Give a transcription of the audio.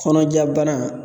Kɔnɔja bana